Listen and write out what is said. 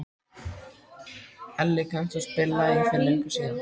Elli, kanntu að spila lagið „Fyrir löngu síðan“?